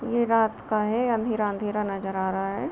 ये रात का है अंधेरा-अंधेरा नजर आ रहा है।